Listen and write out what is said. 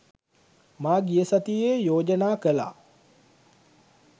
මා ගිය සතියේ යෝජනා කළා